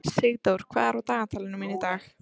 Sigdór, hvað er á dagatalinu mínu í dag?